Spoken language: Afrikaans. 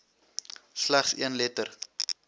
slegs een letter